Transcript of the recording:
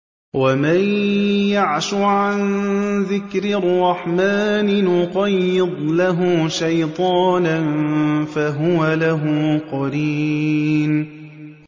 وَمَن يَعْشُ عَن ذِكْرِ الرَّحْمَٰنِ نُقَيِّضْ لَهُ شَيْطَانًا فَهُوَ لَهُ قَرِينٌ